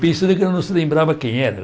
Pensando que eu não se lembrava quem era.